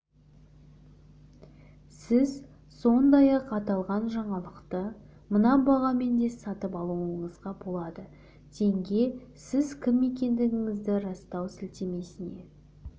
сіз сондай-ақ аталған жаңалықты мына бағамен де сатып алуыңызға болады теңге сіз кім екендігіңізді растау сілтемесіне